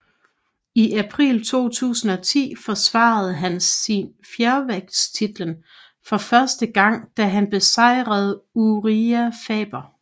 I april 2010 forsvarede han fjervægtstitlen for første gang da han besejrede Urijah Faber